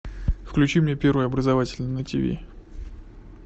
включи мне первый образовательный на ти ви